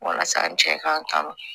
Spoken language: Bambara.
Walasa n cɛ k'an kan